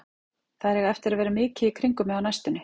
Þær eiga eftir að vera mikið í kringum mig á næstunni.